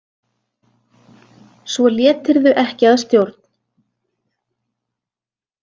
Svo létirðu ekki að stjórn.